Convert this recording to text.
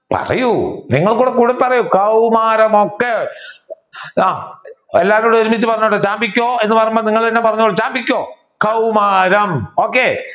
പറയൂ നിങ്ങളും കൂടി കൂടെ പറയൂ. കൗർമാരാം ഒക്കെ എല്ലാവരും കൂടി ഒരുമിച്ച് പറഞ്ഞോട്ടെ ചാമ്പിക്കോ എന്ന് പറയുമ്പോൾ നിങ്ങൾ തന്നെ പറഞ്ഞോളൂ. ചാമ്പിക്കോ കൗമാരം okay